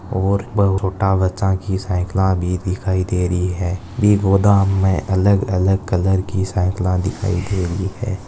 और बड़ा छोटा बच्चा की साईकल भी दिखाई दे रही है गोदाम में अलग अलग कलर की साईकल दिखाई दे रही है।